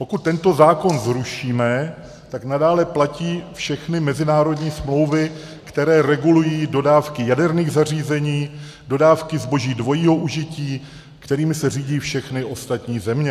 Pokud tento zákon zrušíme, tak nadále platí všechny mezinárodní smlouvy, které regulují dodávky jaderných zařízení, dodávky zboží dvojího užití, kterými se řídí všechny ostatní země.